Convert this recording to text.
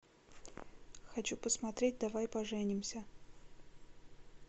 хочу посмотреть давай поженимся